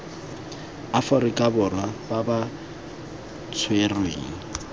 aforika borwa ba ba tshwerweng